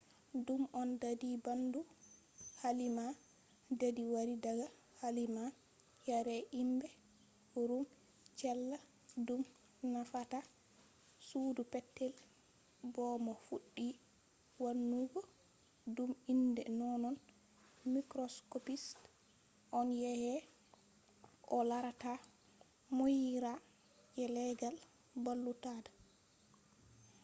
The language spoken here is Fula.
dume on dadi bandu? kalima dadi wari daga kalima yare himbe ruum cella” dum nufata sudu petel” bo mo fuddi wannugo dum inde nonnon microscopist on yake o larata muuyira je leggal balluudata